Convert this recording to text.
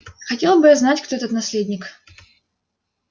хотел бы я знать кто этот наследник